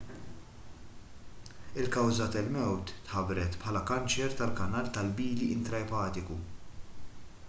il-kawża tal-mewt tħabbret bħala kanċer tal-kanal tal-bili intraepatiku